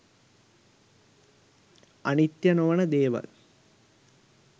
අනිත්‍යය නොවන දෙවල්